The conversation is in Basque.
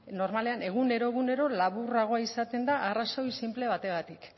normalean egunero egunero laburragoa izaten da arrazoi sinple bategatik